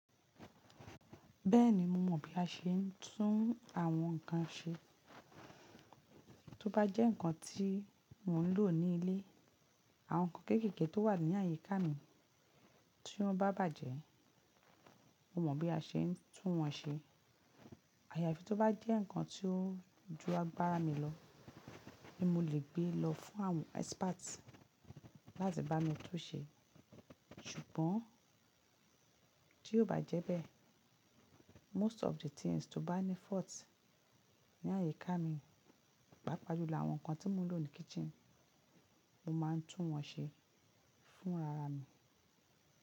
Bẹ́ẹ̀ni mo mọ̀ bí a ṣe ń tún àwọn nǹkan ṣe. Tó bá jẹ́ nǹkan tí mò ń lò ní ilé, àwọn nǹkan kéékèèké tó wà ní àyíká mi tí wọ́n bá bàjẹ́, mo mọ̀ bí a ṣe ń tún wọ́n ṣe. Àyàfi tó bá jẹ́ nǹkan tí ó júa gbára mi lọ ni mo lè gbé lọ fún àwọn experts láti bá mi tún ṣe. Ṣùgbọ́n tí ó bá jẹ́ bẹ́ẹ̀, most of the things tó bá ní fault ní àyíká mi, pàápàá jùlọ àwọn nǹkan tí mò ń lò ní kitchen, mo máa ń tún wọ́n ṣe fún rara mi.